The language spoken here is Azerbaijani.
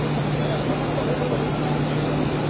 Doqquz yüz üç min.